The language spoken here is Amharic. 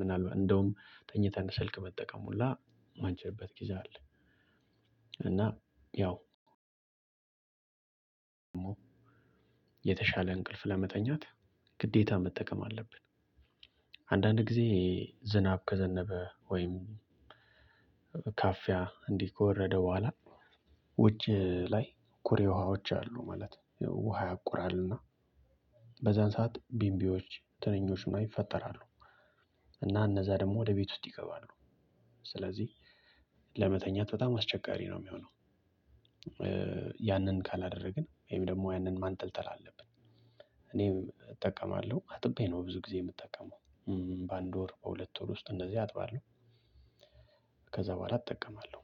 ምናልባት እንደውም ተኝተህ ስልክ መጠቀም ሁላ ማንችልበት ጊዜ አለ። እና ያው የተሻለ እንቅልፍ ለመተኛት ግዴታ መጠቀም አለብን። አንዳንድ ጊዜ ዝናብ ከዘነበ ወይም ካፊያ እንዲህ ከወረደ በኋላ ውጭ ላይ ኩሬ ውሃዎች አሉ ማለት ውሃ ያቁራልና በዛን ሰዓት ቢንቢዎች ትንኞች ምናምን ይፈጠራሉ። እና እነዛ ደግሞ ወደ ቤት ውስጥ ይገባሉ። ስለዚህ ለመተኛት በጣም አስቸጋሪ ነው እሚሆነው። ያንን ካላደረግን ወይም ደግሞ ያንን ማንጠልጠል አለብን። እኔም እጠቀማለሁ አጥቤ ነው ብዙ ጊዜ የምጠቀመው። በአንድ ወር በሁለት ወር ውስጥ እንደዚህ አጥባለሁ። ከዛ በኋላ እጠቀማለሁ።